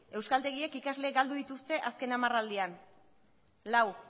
euskaltegiek ikasleak galdu dituzte azken hamarraldian lau